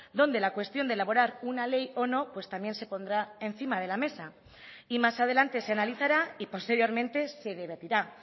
donde la cuestión de elaborar una ley o no pues también se pondrá encima de la mesa y más adelante se analizará y posteriormente se debatirá